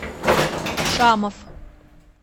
шамов